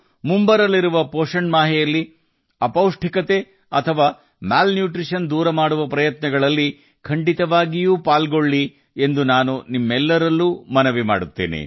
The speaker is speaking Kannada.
ಮುಂಬರುವ ಪೌಷ್ಟಿಕಾಂಶದ ಅಭಿಯಾನದ ತಿಂಗಳಲ್ಲಿ ಅಪೌಷ್ಟಿಕತೆಯನ್ನು ಹೋಗಲಾಡಿಸುವ ಪ್ರಯತ್ನಗಳಲ್ಲಿ ಪಾಲ್ಗೊಳ್ಳುವಂತೆ ನಾನು ನಿಮ್ಮೆಲ್ಲರಿಗೂ ಒತ್ತಾಯಿಸುತ್ತೇನೆ